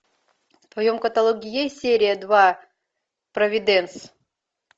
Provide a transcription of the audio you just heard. в твоем каталоге есть серия два провиденс